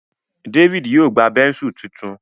David yíò gbá Bẹ́ńsù títún.